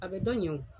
A bɛ dɔ ɲɛ o